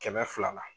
Kɛmɛ fila la